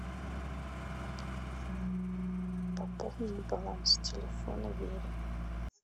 пополнить баланс телефона вере